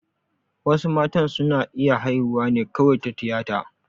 Wasu matan su na iya haihuwa ne kawai ta tiyata